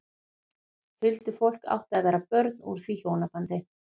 Huldufólk átti að vera börn úr því hjónabandi.